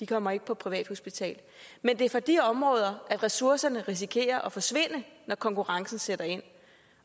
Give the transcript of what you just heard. kommer ikke på privathospital men det er fra de områder ressourcerne risikerer at forsvinde når konkurrencen sætter ind